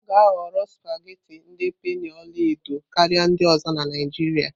A ga-ahọrọ supagetii ndi penii ọla edo karịa ndị ọzọ na Naijiria.